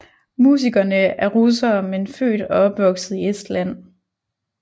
Musikerne er russere men født og opvokset i Estland